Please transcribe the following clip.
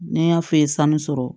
Ne y'a f'e ye sanu sɔrɔ